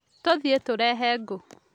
Tũthiĩ tũrehe ngũ